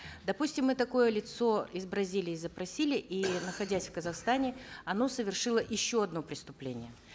допустим мы такое лицо из бразилии запросили и находясь в казахстане оно совершило еще одно преступление